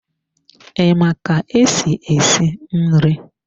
I ma ka-esi esi nri?